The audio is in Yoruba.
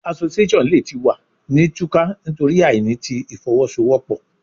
Association le ti wa ni tuka nitori aini ti ifowosowopo